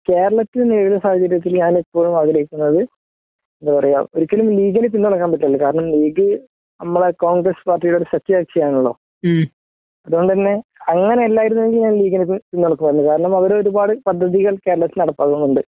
കേരളത്തില് ഈ ഒരു സാഹചര്യത്തില് ഞാന് ഇപ്പോഴും ആഗ്രഹിക്കുന്നത് എന്താ പറയാ ഒരിക്കലും ലീഗിനെ പിന്തുണയ്ക്കാൻ പറ്റില്ലല്ലോ കാരണം ലീഗ് നമ്മുടെ അക്കൌണ്ട് ലെസ് പാർട്ടിയുടെ സഖ്യ കക്ഷിയാണല്ലോ അത്കൊണ്ട് തന്നെ അങ്ങനെ അല്ലായിരുന്നെങ്കിൽ ഞാൻ ലീഗിനെ പിന്തുണക്കുമായിരുന്നു . ഇപ്പോ അവർ ഒരുപാട് പദ്ധതി ലീഗ് കേരളത്തിൽ നടപ്പാക്കുന്നുണ്ട്